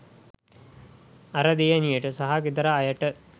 අර දියණියට සහ ගෙදර අයට